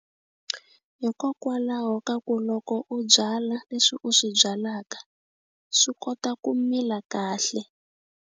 Hikokwalaho ka ku loko u byala leswi u swi byalaka swi kota ku mila kahle.